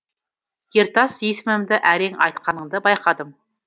ертас есімімді әрең айтқаныңды байқадым